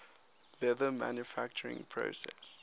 leather manufacturing process